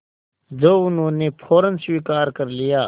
जो उन्होंने फ़ौरन स्वीकार कर लिया